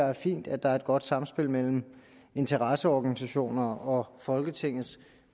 er fint at der er et godt samspil mellem interesseorganisationerne og folketingets